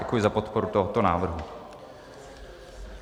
Děkuji za podporu tohoto návrhu.